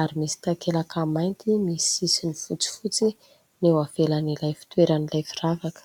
ary misy takelaka mainty misy sisiny fotsifotsy eo ivelan'ilay fitoeran'ilay firavaka.